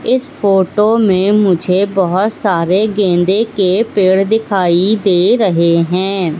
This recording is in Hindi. इस फोटो में मुझे बहोत सारे गेंदे के पेड़ दिखाई दे रहे हैं।